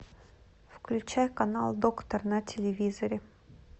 включай канал доктор на телевизоре